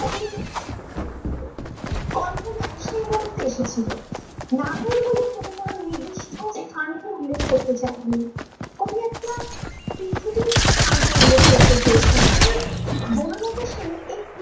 কল্পনায় সে মুহূর্তে এসেছিলো নাটোর বলে কবিতার নিদিষ্ট স্থান কে উল্লেখ করতে চায়নি ।কবি একটা স্থান কে উল্লেখ করতে চেয়েছেন মানে বনলতা সেন এই